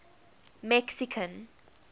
mexican